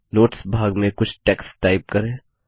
notes भाग में कुछ टेक्स्ट टाइप करें